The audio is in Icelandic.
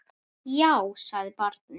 Já, sagði barnið.